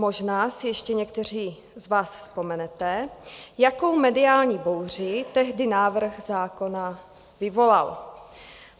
Možná si ještě někteří z vás vzpomenete, jakou mediální bouři tehdy návrh zákona vyvolal.